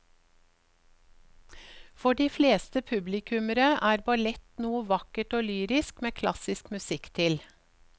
For de fleste publikummere er ballett noe vakkert og lyrisk med klassisk musikk til.